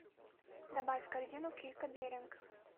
добавь в корзину килька беринг